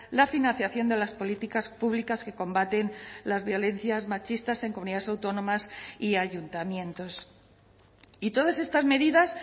la financiación de las políticas públicas que combaten las violencias machistas en comunidades autónomas y ayuntamientos y todas estas medidas